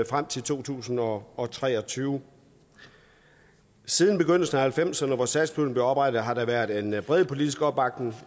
frem til to tusind og og tre og tyve siden begyndelsen af nitten halvfemserne hvor satspuljen blev oprettet har der været en bred politisk opbakning